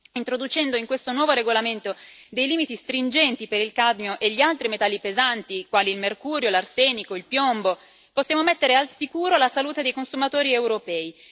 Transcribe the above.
Introducendo in questo nuovo regolamento dei limiti stringenti per il cadmio e per gli altri metalli pesanti, quali il mercurio, l'arsenico e il piombo, possiamo mettere al sicuro la salute dei consumatori europei.